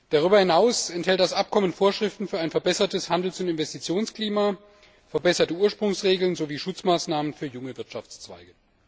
Darüber hinaus enthält das Abkommen Vorschriften für ein verbessertes Handels und Investitionsklima, verbesserte Ursprungsregeln sowie Schutzmaßnahmen für junge Wirtschaftszweige.